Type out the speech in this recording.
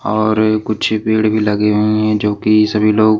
और कुछ पेड़ भी लगे हुए हैं जो कि सभी लोग--